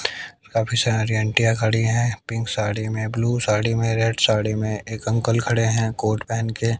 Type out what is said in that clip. काफी सारी आंटियां खड़ी है पिंक साड़ी में ब्लू साड़ी में रेड साड़ी में एक अंकल खड़े है कोट पहन के--